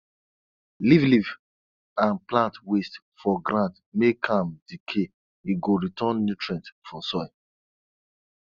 leave leaf and plant waste for ground make am decay e go return nutrient for soil